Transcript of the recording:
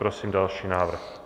Prosím další návrh.